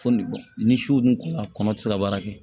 Fo ni bɔn ni su dun kunna kɔnɔ ti se ka baara kɛ